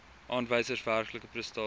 aanwysers werklike prestasies